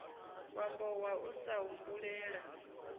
wambo wa u sa humbulela